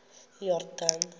iyordane